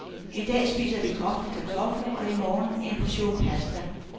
I dag spiser vi kogte kartofler, i morgen en portion pasta.